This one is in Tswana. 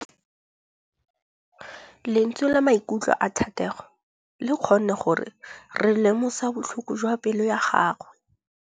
Lentswe la maikutlo a Thategô le kgonne gore re lemosa botlhoko jwa pelô ya gagwe.